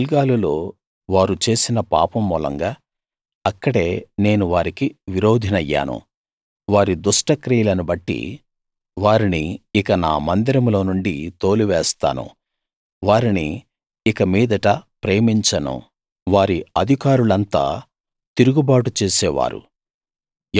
గిల్గాలులో వారు చేసిన పాపం మూలంగా అక్కడే నేను వారికి విరోధినయ్యాను వారి దుష్టక్రియలను బట్టి వారిని ఇక నా మందిరంలోనుండి తోలి వేస్తాను వారిని ఇక మీదట ప్రేమించను వారి అధికారులంతా తిరుగుబాటు చేసేవారు